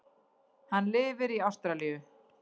Hann lifir í Ástralíu.